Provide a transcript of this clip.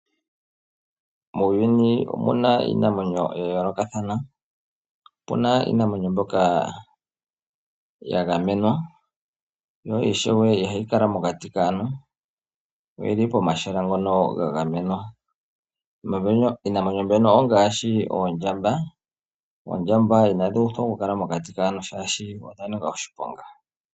Muuyuni omuna iinamwenyo ya yoolokathana. Opuna iinamwenyo mbyoka ya gamenwa yo ishewe ihayi kala mokati kaantu yo oyili pomahala ngono ga gamenwa. Iinamwenyo mbyono ongaashi oondjamba, oondjamba inadhi uthwa oku kala mokati kaantu, shaashi odha nika oshiponga.